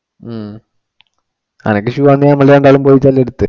ഉം അത് shoe നമ്മള് രണ്ടാളും പോയിട്ടന്നു എടുത്തു.